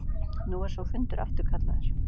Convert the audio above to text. Nú er sá fundur afturkallaður.